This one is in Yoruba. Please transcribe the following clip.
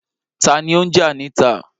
Ta ni ó ń jà níta?